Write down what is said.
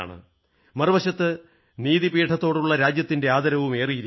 മറുവശത്ത് നീതിപീഠത്തോടുള്ള രാജ്യത്തിന്റെ ആദരവും ഏറിയിരിക്കുന്നു